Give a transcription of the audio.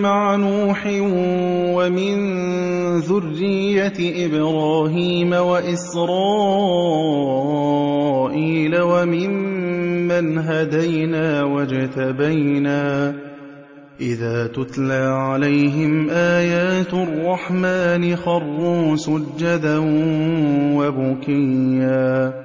مَعَ نُوحٍ وَمِن ذُرِّيَّةِ إِبْرَاهِيمَ وَإِسْرَائِيلَ وَمِمَّنْ هَدَيْنَا وَاجْتَبَيْنَا ۚ إِذَا تُتْلَىٰ عَلَيْهِمْ آيَاتُ الرَّحْمَٰنِ خَرُّوا سُجَّدًا وَبُكِيًّا ۩